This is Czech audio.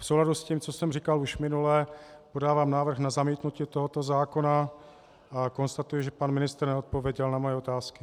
V souladu s tím, co jsem říkal už minule, podávám návrh na zamítnutí tohoto zákona a konstatuji, že pan ministr neodpověděl na moje otázky.